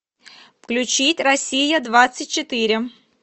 включить россия двадцать четыре